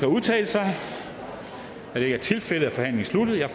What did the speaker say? at udtale sig da det ikke er tilfældet er forhandlingen sluttet jeg